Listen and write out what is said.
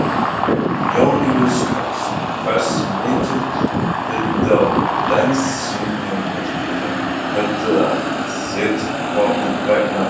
Jón Júlíus Karlsson: Hversu mikill hluti af bensínverðinu heldur að sé til komin vegna þess?